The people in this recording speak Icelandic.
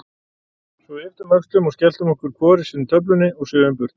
Svo við ypptum öxlum og skelltum í okkur hvor sinni töflunni og svifum burt.